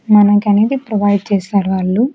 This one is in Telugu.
మనకనేది ప్రొవైడ్ చేస్తారు వాళ్ళు.